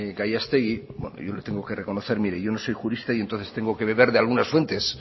gallastegui bueno yo le tengo que reconocer mire yo no soy jurista y entonces tengo que beber de algunas fuentes